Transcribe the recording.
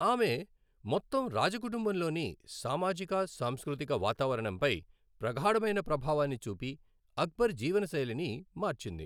ఆమె మొత్తం రాజ కుటుంబంలోని సామాజిక సాంస్కృతిక వాతావరణంపై ప్రగాఢమైన ప్రభావాన్ని చూపి, అక్బర్ జీవనశైలిని మార్చింది.